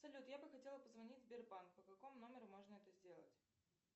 салют я бы хотела позвонить в сбербанк по какому номеру можно это сделать